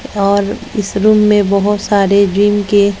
और इस रूम में बहुत सारे गिन के--